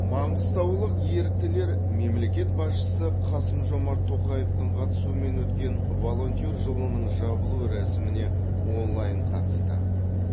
маңғыстаулық еріктілер мемлекет басшысы қасым жомарт тоқаевтың қатысуымен өткен волонтер жылының жабылу рәсіміне онлайн қатысты